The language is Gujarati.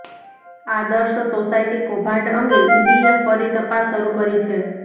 આદર્શ સોસાયટી કૌભાંડ અંગે ઈડીએ ફરી તપાસ શરૂ કરી છે